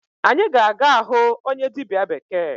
Anyị ga-aga ahụ onye dịbịa bekee.